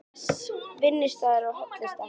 Vinnustaður og hollusta